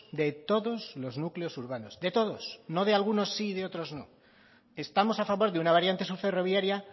de todos los núcleos urbanos de todos no de algunos sí y de otros no estamos a favor de una variante sur ferroviaria